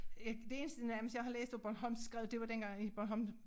Jeg det eneste nærmest jeg har læst af bornholmsk skrevet det var dengang i Bornholm